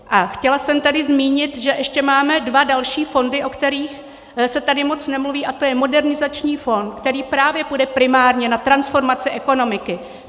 A chtěla jsem tady zmínit, že ještě máme dva další fondy, o kterých se tady moc nemluví, a to je Modernizační fond, který právě půjde primárně na transformaci ekonomiky.